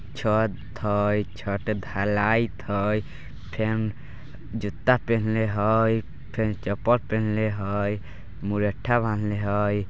छत हाय छत ढलाईथ हाय फिन जूता पहिनले हाय फिन चप्पल पहिनले हाय मुरैठा बांधले हाय।